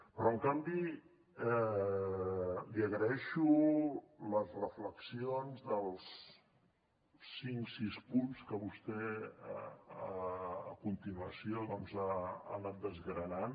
però en canvi li agraeixo les reflexions dels cinc sis punts que vostè a continuació doncs ha anat desgranant